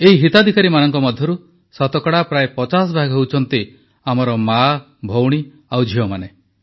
ଏଇ ହିତାଧିକାରୀମାନଙ୍କ ମଧ୍ୟରୁ ଶତକଡ଼ା ପ୍ରାୟ ପଚାଶଭାଗ ହେଉଛନ୍ତି ଆମର ମାଆ ଭଉଣୀ ଆଉ ଝିଅମାନେ